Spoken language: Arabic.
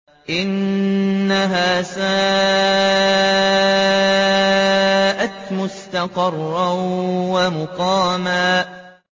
إِنَّهَا سَاءَتْ مُسْتَقَرًّا وَمُقَامًا